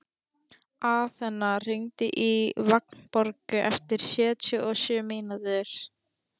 Aþena, hringdu í Vagnborgu eftir sjötíu og sjö mínútur.